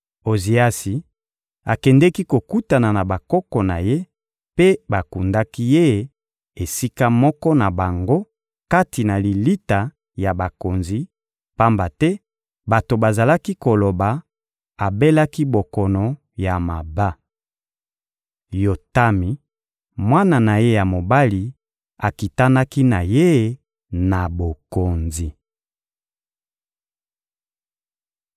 Oziasi akendeki kokutana na bakoko na ye, mpe bakundaki ye esika moko na bango kati na lilita ya bakonzi, pamba te bato bazalaki koloba: «Abelaki bokono ya maba.» Yotami, mwana na ye ya mobali, akitanaki na ye na bokonzi.